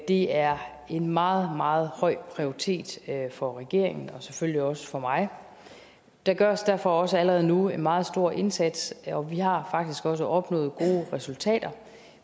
det er en meget meget høj prioritet for regeringen og selvfølgelig også for mig der gøres derfor også allerede nu en meget stor indsats og vi har faktisk også opnået gode resultater